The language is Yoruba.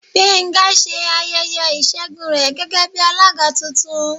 Gbenga se ayẹyẹ isègún re gégé bi alagá túntún.